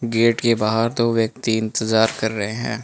Gate के बाहर दो व्यक्ति इंतजार कर रहे हैं।